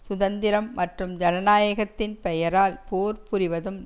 சுதந்திரம் மற்றும் ஜனநாயத்தின் பெயரால் போர் புரிவதும்